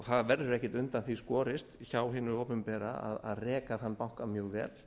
það verður ekki undan því skorið hjá hiænul opinbera að reka þann banka mjög vel